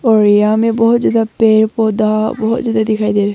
उड़िया में बहोत ज्यादा पेड़ पौधा बहुत ज्यादा दिखाई दे--